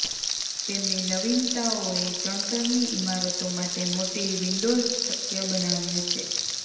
તેમની નવીનતાઓએ ચણતરની ઇમારતો માટે મોટી વિંડોઝ શક્ય બનાવ્યું છે